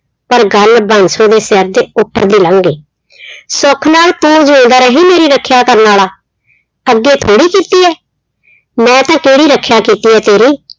ਪਰ ਗੱਲ ਬਾਂਸੋ ਦੇ ਸਿਰ ਦੇ ਉੱਪਰ ਦੀ ਲੰਘ ਗਈ ਸੁੱਖ ਨਾਲ ਤੂੰ ਜਿਊਂਦਾ ਰਹੀਂ ਮੇਰੀ ਰੱਖਿਆ ਕਰਨ ਵਾਲਾ, ਅੱਗੇ ਥੋੜ੍ਹੀ ਕੀਤੀ ਹੈ, ਮੈਂ ਤਾਂ ਕਿਹੜੀ ਰੱਖਿਆ ਕੀਤੀ ਹੈ ਤੇਰੀ?